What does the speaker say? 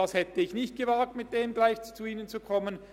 Ich hätte es nicht gewagt, damit gleich zu Ihnen zu kommen.